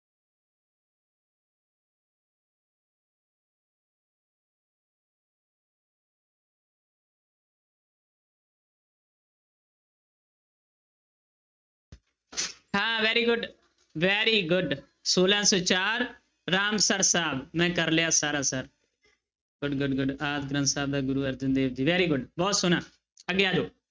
ਹਾਂ very good, very good ਛੋਲਾਂ ਸੌ ਚਾਰ, ਰਾਮਸਰ ਸਾਹਿਬ ਮੈਂ ਕਰ ਲਿਆ ਸਾਰਾ sir, good good good Adi Granth Sahib ਦਾ ਗੁਰੂ ਅਰਜਨ ਦੇਵ ਜੀ very good ਬਹੁਤ ਸੋਹਣਾ ਅੱਗੇ ਆ ਜਾਓ।